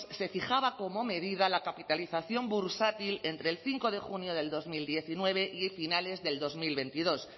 se fijaba como medida la capitalización bursátil entre el cinco de junio de dos mil diecinueve y finales del dos mil veintidós